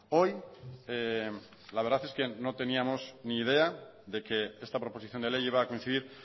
hoy la verdad es que no teníamos ni idea de que esta proposición de ley iba a coincidir